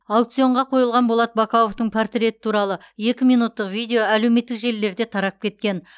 аукционға қойылған болат бақауовтың портреті туралы екі минуттық видео әлеуметтік желілерде тарап кеткен